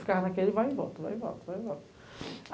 Ficava naquele, vai e volta, vai e volta, vai e volta.